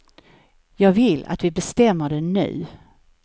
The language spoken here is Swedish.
Jag vill att vi bestämmer det nu.